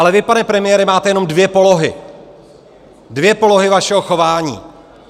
Ale vy, pane premiére, máte jenom dvě polohy, dvě polohy vašeho chování.